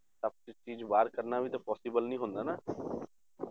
City ਚੋਂ ਬਾਹਰ ਕਰਨਾ ਵੀ ਤਾਂ possible ਨਹੀਂ ਹੁੰਦਾ ਨਾ